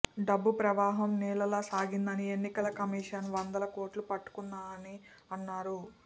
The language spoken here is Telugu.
డబ్బు ప్రవాహం నీళ్లలా సాగిందని ఎన్నికల కమిషన్ వందల కోట్లు పట్టుకుందని అన్నారు